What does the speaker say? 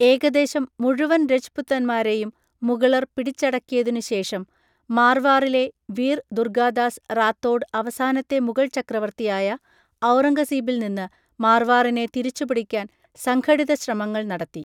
ഏകദേശം മുഴുവൻ രജ് പുത്താന്മാരെയും മുഗളർ പിടിച്ചടക്കിയതിനുശേഷം മാർവാറിലെ വീർ ദുർഗാദാസ് റാത്തോഡ് അവസാനത്തെ മുഗൾ ചക്രവർത്തിയായ ഔറംഗസീബിൽ നിന്ന് മാർവാറിനെ തിരിച്ചുപിടിക്കാൻ സംഘടിത ശ്രമങ്ങൾ നടത്തി.